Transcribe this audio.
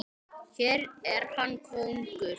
Hér er hann kóngur.